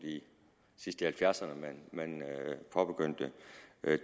sidst i nitten halvfjerdserne man påbegyndte